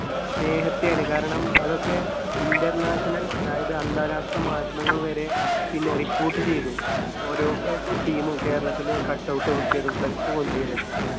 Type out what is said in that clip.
സ്നേഹത്തെയാണ്. കാരണം അതൊക്കെ international അതായത് അന്താരാഷ്ട്ര മാധ്യമങ്ങൾവരെ പിന്നെ report ചെയ്‌തു. ഓരോ അഹ് അഹ് team ഉം കേരളത്തില് cut out വെച്ചതും flex പൊന്തിയതും ഒക്കെ.